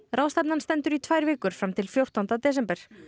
ráðstefnan stendur í tvær vikur fram til fjórtánda desember